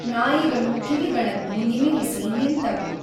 ನಾಯಿಗಳು ಕಿವಿಗಳನ್ನು ನಿಮಿರಿಸಿ, ನಿಂತವು.